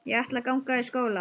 Ég ætla að ganga í skóla.